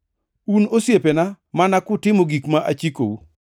Un osiepena mana kutimo gik ma achikou.